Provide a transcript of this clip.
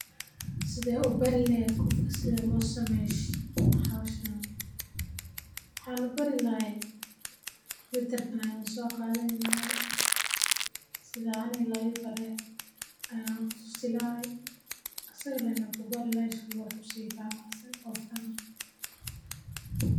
Sideed u bari lahayd qof sida loo sameeya howshan, waxan u bari lahay computer gan ayan soqadhani lahay, sitha aniga laibare aya u tusi lahay, asaga lee ku bari lahay si u wax usifahmo.